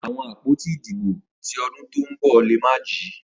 Awọn apoti idibo ti ọdun to nbọ le ma ji.